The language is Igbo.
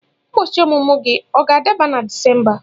Ụbọchị ọmụmụ gị ọ ga-ada na Disemba?